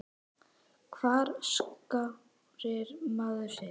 Hvar skráir maður sig?